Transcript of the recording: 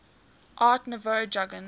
art nouveau jugend